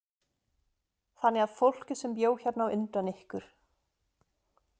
Þannig að fólkið sem bjó hérna á undan ykkur.